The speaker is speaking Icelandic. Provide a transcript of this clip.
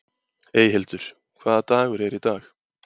Eyhildur, hvaða dagur er í dag?